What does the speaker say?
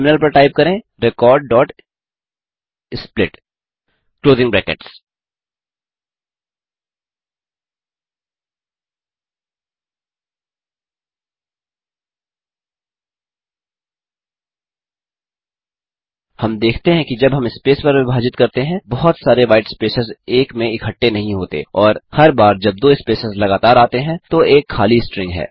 terminal पर type करें recordsplit हम देखते हैं कि जब हम स्पेस पर विभाजित करते हैं बहुत सारे व्हाईट स्पेसेस एक में इकट्ठे नहीं होते और हर बार जब दो स्पेसेस लगातार आते हैं तो एक खाली स्ट्रिंग है